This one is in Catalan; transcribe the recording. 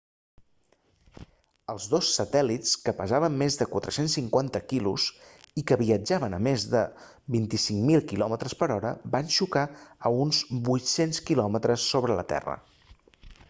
els dos satèl·lits que pesaven més de 450 kg i que viatjaven a més de 25.000 km per hora van xocar a uns 800 km sobre la terra